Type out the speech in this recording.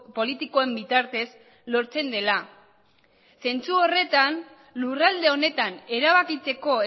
politikoen bitartez lortzen dela zentzu horretan lurralde honetan erabakitzeko